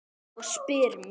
Og spyr mig